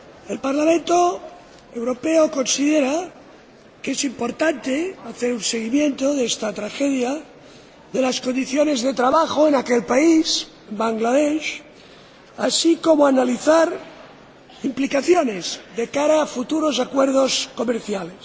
El Parlamento Europeo considera que es importante hacer un seguimiento de esta tragedia, de las condiciones de trabajo en aquel país, Bangladesh, así como analizar implicaciones de cara a futuros acuerdos comerciales.